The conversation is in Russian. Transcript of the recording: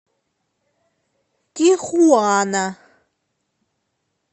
тихуана